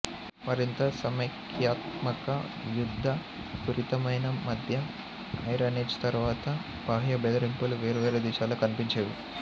మరింత సమస్యాత్మక యుద్ధ పూరితమైన మధ్య ఐరన్ ఏజ్ తరువాత బాహ్య బెదిరింపులు వేర్వేరు దిశల్లో కనిపించేవి